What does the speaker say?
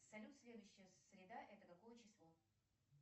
салют следующая среда это какое число